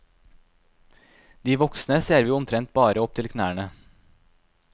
De voksne ser vi omtrent bare opp til knærne.